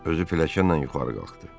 Özü pilləkənlə yuxarı qalxdı.